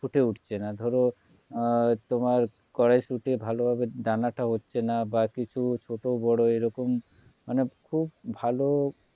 ফুটে উঠছেনা ধরো তোমার কড়াইশুঁটি ভালোভাবে দানা টা হচ্ছে না বা কিছু ছোট বোরো এইরকম মানে খুব ভালো